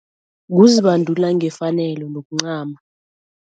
Kuzibandula ngefanelo nokuncama.